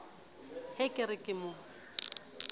he ke re ke mo